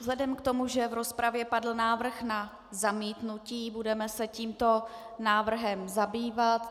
Vzhledem k tomu, že v rozpravě padl návrh na zamítnutí, budeme se tímto návrhem zabývat.